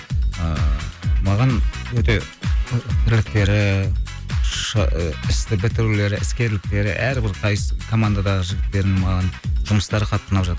ыыы маған өте ы трэктері істі бітірулері іскерліктері әрбір қайсы командадағы жігіттердің маған жұмыстары қатты ұнап жатыр